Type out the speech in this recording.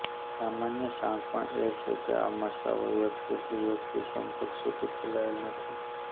સામાન્ય શાણપણ એ છે કે આ મસાઓ વ્યક્તિથી વ્યક્તિ સંપર્ક સુધી ફેલાયેલો નથી